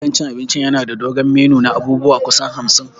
Gidan cin abinci yana da dogon menu na abubuwa kusan hamsin.